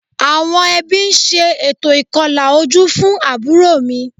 Àwọn ẹbí ń ṣe ètò ìkọlà ojú fún àbúrò mi